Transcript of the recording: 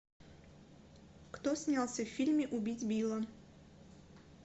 кто снялся в фильме убить билла